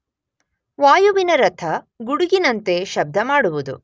ವಾಯುವಿನ ರಥ ಗುಡುಗಿನಂತೆ ಶಬ್ದ ಮಾಡುವುದು.